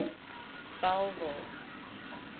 bellville